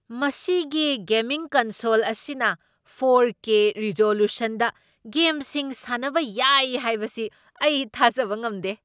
ꯃꯁꯤꯒꯤ gaming console ꯑꯁꯤꯅ four K ꯔꯤꯖꯣꯂꯨꯁꯟꯗ ꯒꯦꯝꯁꯤꯡ ꯁꯥꯟꯅꯕ ꯌꯥꯏ ꯍꯥꯏꯕꯁꯤ ꯑꯩ ꯊꯥꯖꯕ ꯉꯝꯗꯦ꯫